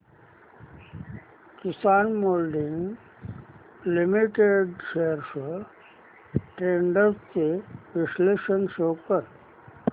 किसान moulding limited shares trends चे विश्लेषण show कर